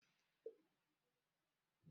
Ee, ụfọdụ ndị na anaghị afụ ụzọ bụ ezigbo mmadụ.